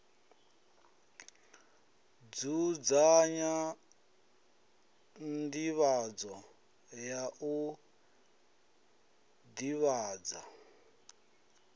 dzudzanya nḓivhadzo ya u ḓivhadza